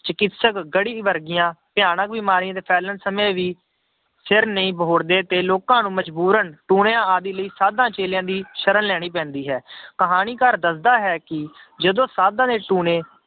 ਚਿਕਿਤਸਕ ਗੜ੍ਹੀ ਵਰਗੀਆਂ ਭਿਆਨਕ ਬਿਮਾਰੀ ਦੇ ਫੇਲਣ ਸਮੇਂ ਵੀ ਸਿਰ ਨਹੀਂ ਬਹੁੜਦੇ ਤੇ ਲੋਕਾਂ ਨੂੰ ਮਜ਼ਬੂਰਨ ਟੂਣਿਆਂ ਆਦਿ ਲਈ ਸਾਧਾਂ ਚੇਲਿਆਂ ਦੀ ਸਰਣ ਲੈਣੀ ਪੈਂਦੀ ਹੈ ਕਹਾਣੀਕਾਰ ਦੱਸਦਾ ਹੈ ਕਿ ਜਦੋਂ ਸਾਧਾਂਂ ਦੇ ਟੂਣੇ